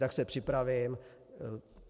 Tak se připravím.